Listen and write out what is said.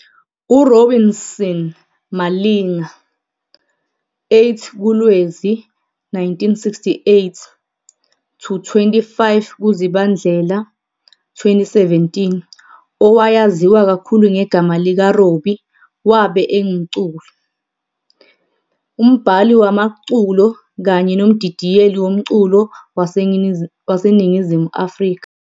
URobinson Malinga, 08 kuLwezi 1968 - 25 kuZibandlela 2017, owayaziwa kakhulu ngegama lika Robbie wabe engumculi, umbhali wamaculo kanye nomdidiyeli womculo waseNingizimu Afrika.